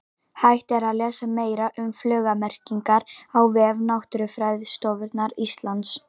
Hægt er að lesa meira um fuglamerkingar á vef Náttúrufræðistofnunar Íslands.